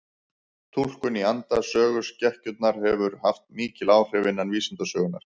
Túlkun í anda söguskekkjunnar hefur haft mikil áhrif innan vísindasögunnar.